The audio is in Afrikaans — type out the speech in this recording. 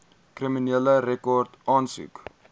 kriminele rekord aansoek